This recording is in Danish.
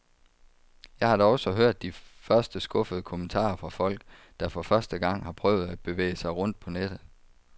Jeg har da også hørt de første skuffede kommentarer fra folk, der for første gang har prøvet at bevæge sig rundt på nettet.